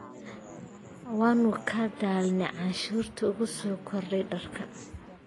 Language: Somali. Waanu ka daalnay cashuurta ku soo korodhay dharka.